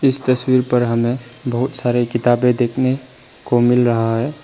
इस तस्वीर पर हमें बहोत सारे किताबें देखने को मिल रहा है।